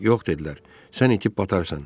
Yox, dedilər, sən itib batarsan.